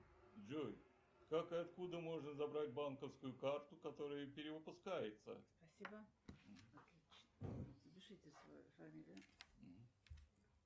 джой как и откуда можно забрать банковскую карту которая перевыпускается